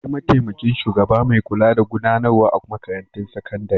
Akwai mataimakin shugaba mai kula da gudanarwa a makarantun sakandare.